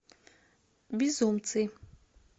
безумцы